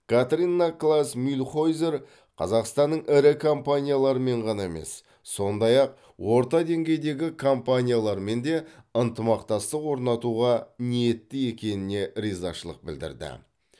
катрина клаас мюльхойзер қазақстанның ірі компаниялармен ғана емес сондай ақ орта деңгейдегі компаниялармен де ынтымақтастық орнатуға ниетті екеніне ризашылық білдірді